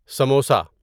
samosa